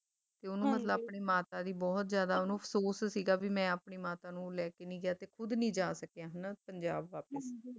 ਤੇ ਓਹਨੂੰ ਮਤਲਬ ਆਪਣੀ ਮਾਤਾ ਦੀ ਬਹੁਤ ਜ਼ਿਆਦਾ ਓਹਨੂੰ ਅਫਸੋਸ ਸੀਗਾ ਵੀ ਮੈਂ ਆਪਣੀ ਮਾਤਾ ਨੂੰ ਲੈਕੇ ਨਹੀਂ ਗਿਆ ਤੇ ਖੁਦ ਨੀ ਜਾ ਸਕਿਆ ਹਨਾਂ ਪੰਜਾਬ ਵਾਪਸ